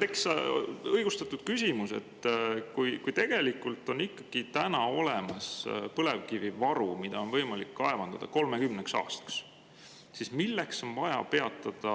Tekkis õigustatud küsimus, et kui on olemas põlevkivivaru 30 aastaks, mida on võimalik kaevandada, siis milleks on vaja peatada